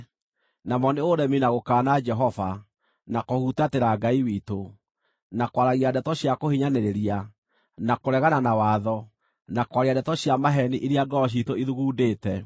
namo nĩ ũremi na gũkaana Jehova, na kũhutatĩra Ngai witũ, na kwaragia ndeto cia kũhinyanĩrĩria, na kũregana na watho, na kwaria ndeto cia maheeni iria ngoro ciitũ ithugundĩte.